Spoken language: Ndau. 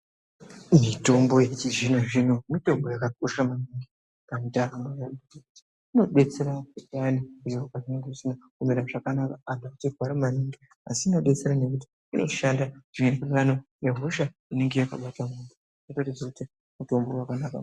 Mitombo yechizvinozvino mitombo yakakosha maningi pandaramo yemuntu. Inodetsera payani zviro pezvinonge zvisina kumira zvakanaka antu echirwara maningi asi inodetsera nekuti inoshanda zvinoenderana nehosha inenge yakabata muntu. Unonase kuziye kuti mutombo wakanaka uyu.